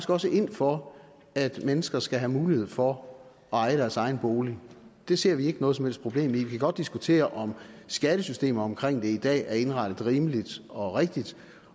også ind for at mennesker skal have mulighed for at eje deres egen bolig det ser vi ikke noget som helst problem i vi kan godt diskutere om skattesystemet omkring det i dag er indrettet rimeligt og rigtigt